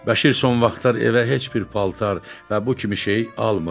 Bəşir son vaxtlar evə heç bir paltar və bu kimi şey almırdı.